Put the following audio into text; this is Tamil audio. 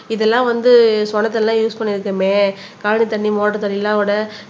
இதெல்லாம் வந்து சொன தண்ணி எல்லாம் யூஸ் பண்ணி இருக்கமே காடு தண்ணி மோட்டர் தண்ணி எல்லாம் விட